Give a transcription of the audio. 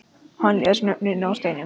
Hann les nöfnin af steininum